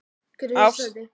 ÁST, KYNLÍF OG HJÓNABAND